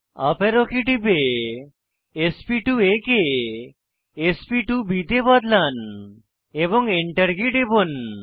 up arrow key টিপে sp2আ কে sp2বি তে বদলান এবং Enter কী টিপুন